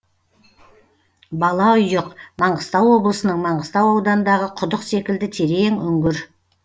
балаұйық маңғыстау облысының маңғыстау ауданындағы құдық секілді терең үңгір